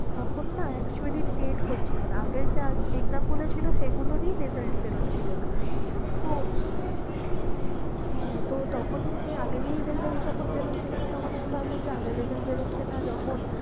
তখন না actuallyTET হচ্ছিলো না, আগের যা exam গুলো ছিল সেগুলোরই result বেরোচ্ছিল না তো হ্যাঁ তো তখন যে আগেরই result বেরোচ্ছিল না তখন আমি ভাবলাম যে আগের result বেরোচ্ছে না যখন